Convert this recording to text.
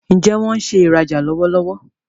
Njé wón ṣe ìrajà lọwọlọwọ?